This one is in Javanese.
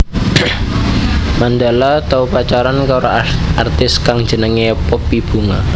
Mandala tau pacaran karo artis kang jenengé Poppy Bunga